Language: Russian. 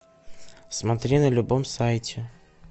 смотри на любом сайте